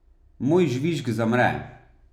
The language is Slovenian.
Moj žvižg zamre.